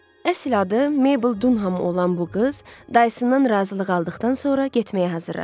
Əsl adı Meybl Dunham olan bu qız dayısından razılıq aldıqdan sonra getməyə hazırlaşdı.